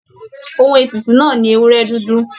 Òhun ètùtù náà ní ewúrẹ dúdú.